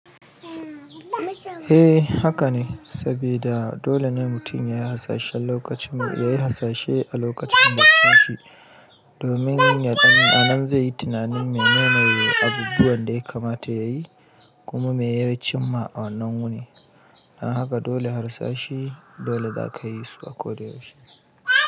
Eh haka ne, sabida dole ne mutum yayi hasashen lokacin nayi hasashe a lokacin baccin shi domin yaɗan anan zai yi tunanin menene abubuwan da ya kamata yayi kuma meya chinma a wannan wuni. Don haka dole harsashe dole zakayi su a ko da yaushe.